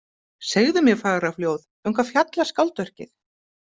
Segðu mér fagra fljóð, um hvað fjallar skáldverkið?